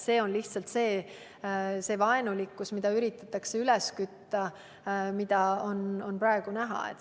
See on lihtsalt see vaenulikkus, mida üritatakse üles kütta – seda on praegu näha.